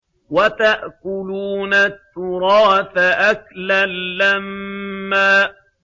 وَتَأْكُلُونَ التُّرَاثَ أَكْلًا لَّمًّا